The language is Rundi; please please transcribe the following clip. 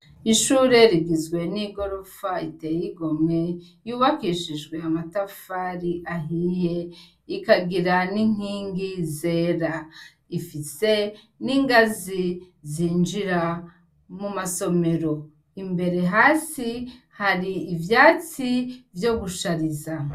Ishure rigizwe n'igorofa iteye igomwe; yubakishijwe amatafari ahiye ikagira n'inkingi zera. Ifise n'ingazi zinjira mu masomero. Imbere hasi hari ivyatsi vyo gushariza.